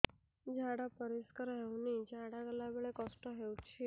ଝାଡା ପରିସ୍କାର ହେଉନି ଝାଡ଼ା ଗଲା ବେଳେ କଷ୍ଟ ହେଉଚି